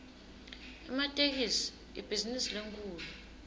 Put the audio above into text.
ematekisi ibhizinisi lenkhulu